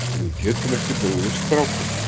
Við getum ekki brugðist strákunum.